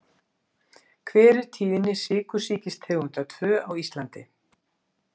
Hver er tíðni sykursýkistegundar II á Íslandi?